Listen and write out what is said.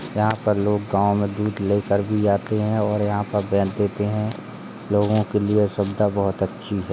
यहां पर लोग गांव में दूध लेकर भी आते हैं और यहां पर बेच देते हैं। लोगों के लिए यह सुविधा बहुत अच्छी है।